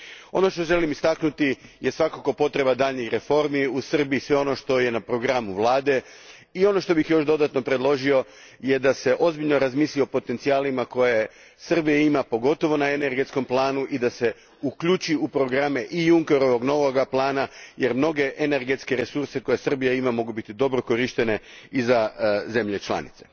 Ono što želim istaknuti je svakako potreba daljnjih reformi u Srbiji, sve ono što je na programu Vlade i ono što bih dodatno predložio je da se ozbiljno razmisli o potencijalima koje Srbija ima, pogotovo na energetskom planu i da se uključi u programe novog Junckerovog plana jer mnogi energetski resursi koje Srbija ima mogu biti dobro korišteni i za države članice.